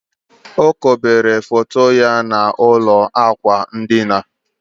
O kobere foto ya n'ụlọ ákwà ndina